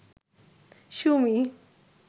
Sumi